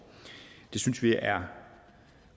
det synes vi er